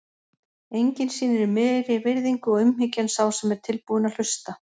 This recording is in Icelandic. Enginn sýnir meiri virðingu og umhyggju en sá sem er tilbúinn að hlusta.